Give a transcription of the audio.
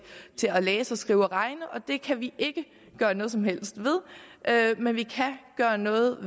at læse skrive og regne og det kan vi ikke gøre noget som helst ved men vi kan gøre noget